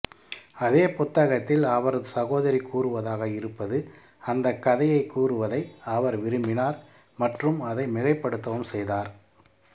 அதே புத்தகத்தில் அவரது சகோதரி கூறுவதாக இருப்பது அந்த கதையைக் கூறுவதை அவர் விரும்பினார் மற்றும் அதை மிகைபடுத்தவும் செய்தார்